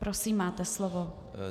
Prosím, máte slovo.